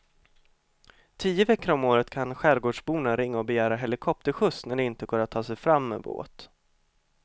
Tio veckor om året kan skärgårdsborna ringa och begära helikopterskjuts när det inte går att ta sig fram med båt.